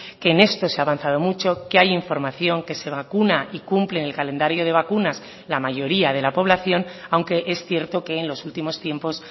que en esto se ha avanzado mucho que hay información que se vacuna y cumplen el calendario de vacunas la mayoría de la población aunque es cierto que en los últimos tiempos